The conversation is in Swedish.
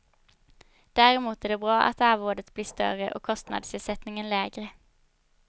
Däremot är det bra att arvodet blir större och kostnadsersättningen lägre.